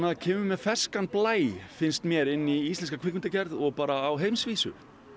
kemur með ferskan blæ finnst mér inn í íslenska kvikmyndagerð og bara á heimsvísu